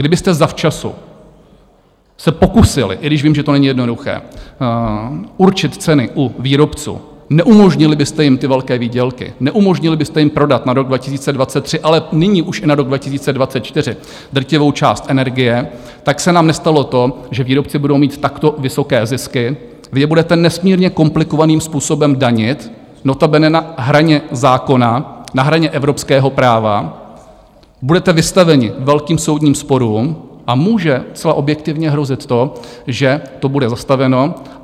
Kdybyste zavčasu se pokusili - i když vím, že to není jednoduché - určit ceny u výrobců, neumožnili byste jim ty velké výdělky, neumožnili byste jim prodat na rok 2023, ale nyní už i na rok 2024 drtivou část energie, tak se nám nestalo to, že výrobci budou mít takto vysoké zisky, vy je budete nesmírně komplikovaným způsobem danit, notabene na hraně zákona, na hraně evropského práva, budete vystaveni velkým soudním sporům a může zcela objektivně hrozit to, že to bude zastaveno.